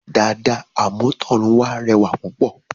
Dàda àmútọ̀runwá rẹwà púpọ̀